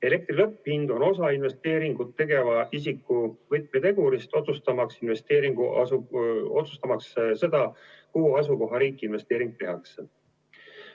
Elektri lõpphind on osa investeeringut tegeva isiku võtmetegurist, otsustamaks seda, kuhu asukohariiki investeering tehakse.